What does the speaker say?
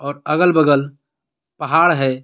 और अगल-बगल पहाड़ है.